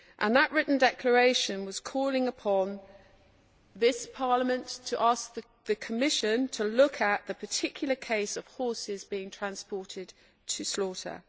That written declaration called upon this Parliament to ask the Commission to look at the particular case of horses being transported for slaughter.